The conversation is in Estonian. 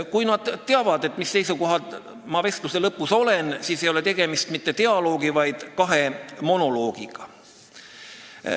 Kui nad teavad, mis seisukohal nad vestluse lõpus on, siis ei ole tegemist mitte dialoogi, vaid kahe monoloogiga.